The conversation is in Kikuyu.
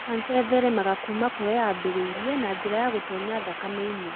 kanca ĩtheremaga kuuma kũrĩa yambĩrĩrie na njĩra ya gũtoonya thakame-inĩ.